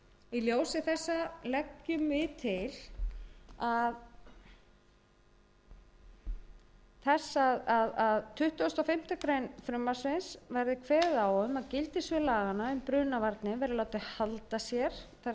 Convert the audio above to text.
í ljósi þessa leggur meiri hlutinn til þess að í tuttugasta og fimmtu grein frumvarpsins verði kveðið á um að gildissvið laga um brunavarnir verði látið halda sér það er